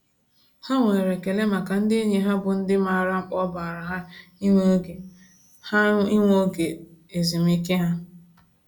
Ha nwere ekele maka ndị enyi ha bụ ndị maara mkpa ọ baara ha ịnwe oge ha ịnwe oge ezumiike ha.